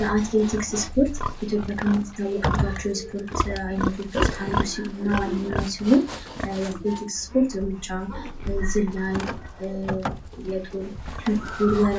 የአትሌቲክስ ስፖርት ኢትዮጵያ ከምትታወቅባቸው የስፖርት ዓይነቶች ውስጥ አንዱ እና ዋነኛው ሲሆን አትሌቲክስ ስፖርት ሩጫ ፣ዝላይ፣ የጦር ውርወራ